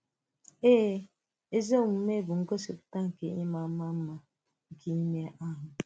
Èè, ezi omume bụ ngosipùta nke ị̀ma ị̀ma mma nke ìmé ahụ.